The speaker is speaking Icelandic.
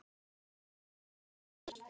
Ykkar vinir.